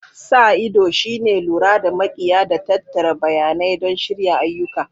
Sa ido shine lura da makiya da tattara bayanai don shirya ayyuka.